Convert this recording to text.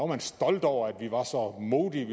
man stolt over at vi var så modige